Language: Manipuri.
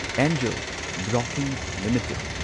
angel broking limited